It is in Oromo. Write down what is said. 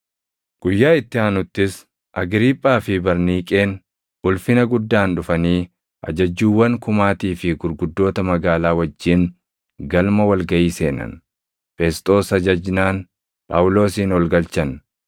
Guyyaa itti aanuttis Agriiphaa fi Barniiqeen ulfina guddaan dhufanii Ajajjuuwwan kumaatii fi gurguddoota magaalaa wajjin galma wal gaʼii seenan. Fesxoos ajajnaan Phaawulosin ol galchan.